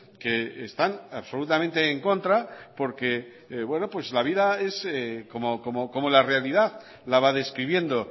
que están absolutamente en contra porque la vida es como la realidad la va describiendo